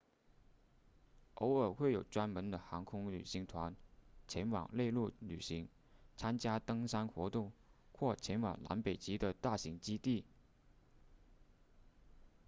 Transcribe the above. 偶尔会有专门的航空旅行团前往内陆旅行参加登山活动或前往南北极的大型基地